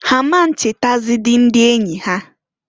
Ha a ma nchetazidi ndi enyi ya.